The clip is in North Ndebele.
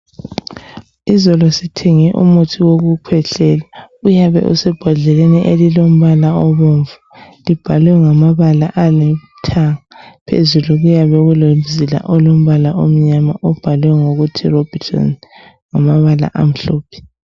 Izolo sithenge umuthi wokukhwehlela. Uyabe usebhodleleni elilombala obomvu. Libhalwe ngamabala alithanga. Phezulu kuyabe kulomzila olombala omnyama, obhalwe ukuthi, Robitussin ngamabala, amhlophe.